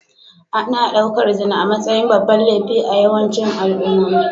Ana ɗaukar zina a matsayin babban laifi a yawancin al'ummomi